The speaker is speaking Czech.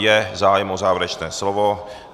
Je zájem o závěrečné slovo?